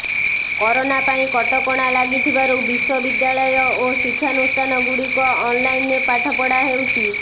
corona ପାଇଁ କଟକଣା ଲାଗିଥିବାରୁ ବିଶ୍ୱବିଦ୍ୟାଳୟ ଓ ଶିକ୍ଷାନୁଷ୍ଠାନଗୁଡ଼ିକ ଅନଲାଇନରେ ପାଠପଢ଼ା ହେଉଛି